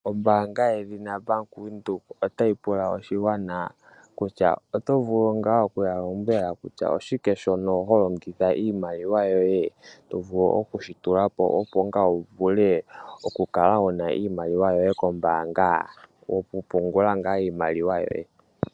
Ombaanga yedhina Bank Windhoek otayi pula oshigwana kutya oto vulu nga okuya lombwela kutya oshike shono ho longitha iimaliwa yoye to vulu okushi tulapo opo ngaa wu vule okukala wuna iimaliwa yoye kombaanga yoku pungula ngaa iimaliwa yoye.